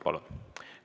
Palun!